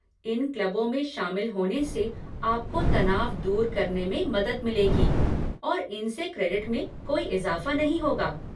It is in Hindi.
इन क्लबों में शामिल होने से आपको तनाव दूर करने में मदद मिलेगी, और इन से क्रेडिट में कोई इज़ाफ़ा नहीं होगा।